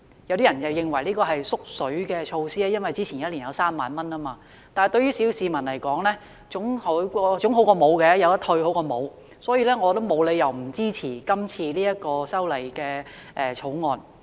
雖然有人認為這是"縮水"措施，因為前一年的上限是3萬元，但對小市民而言，可以退稅總比沒有退稅好，故此我沒有理由不支持這項《條例草案》。